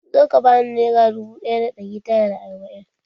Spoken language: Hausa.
Zo ka bani nera dubu ɗaya da ɗari tara da arba'in!